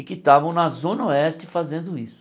E que estavam na Zona Oeste fazendo isso.